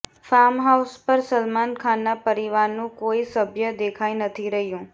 farmhouse પર સલમાન ખાનના પરિવારનું કોઈ સભ્ય દેખાઈ નથી રહ્યું